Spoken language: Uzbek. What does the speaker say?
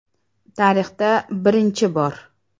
Tarixda birinchi bor!